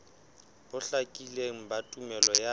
bo hlakileng ba tumello ya